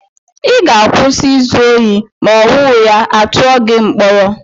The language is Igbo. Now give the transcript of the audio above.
Ị ga-akwụsị izu ohi ma owuya, à tụọ gị mkpọrọ!